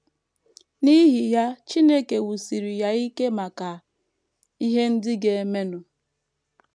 N’ihi ya, Chineke wusiri ya ike maka ihe ndị ga - emenụ.